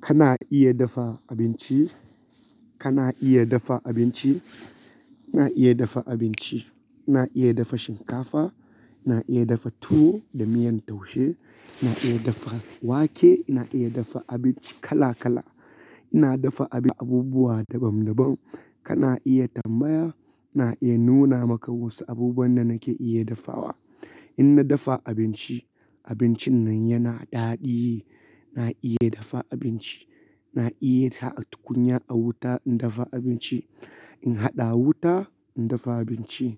Kana iya dafa abinci? Kana iya dafa abinci? Na iya dafa abinci. Na iya dafa shinkafa, na iya dafa tuwo da miyan taushe, na iya dafa wake, na iya dafa abinci kala kala. Ina dafa abubuwa daban daban. Kana iya tambaya, na iya nuna maka wasu abubuwan da nake iya dafawa. In na dafa abinci, abincin nan yana daɗi. Na iya dafa abinci. Na iya sa tukunya a wuta in dafa abinci. In haɗa wuta, in dafa abinci.